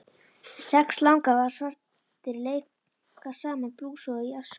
Sex langafar svartir leika sama blús og í æsku.